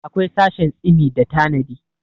akwai sashin tsimi da tanadi